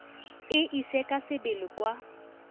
e ise ka sebele kwa